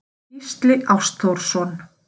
Gísli Ástþórsson.